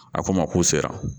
A ko n ma k'u sera